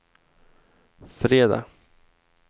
fredag